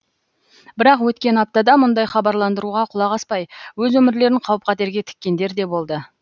бірақ өткен аптада мұндай хабарландыруға құлақ аспай өз өмірлерін қауіп қатерге тіккендер де болды